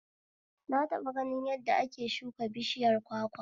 Na taɓa ganin yadda ake shuka bishiyar kwakwa